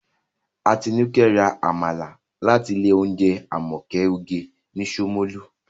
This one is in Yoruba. Atinúkẹ́ ra Àmàlà láti ilé oúnjẹ Àmọ̀kẹ́ oge ní Ṣómólú